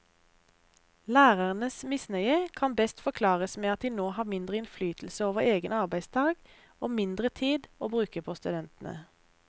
Lærernes misnøye kan best forklares med at de nå har mindre innflytelse over egen arbeidsdag og mindre tid å bruke på studentene.